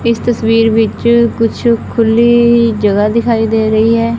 ਇਸ ਤਸਵੀਰ ਵਿੱਚ ਕੁਛ ਖੁੱਲੀ ਜਗ੍ਹਾ ਦਿਖਾਈ ਦੇ ਰਹੀ ਹੈ।